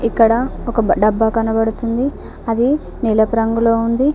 ఇక్కడ ఒక డబ్బా కనబడుతుంది అది నీలపు రంగులో ఉంది.